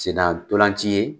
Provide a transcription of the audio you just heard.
Sen na ntolan ci ye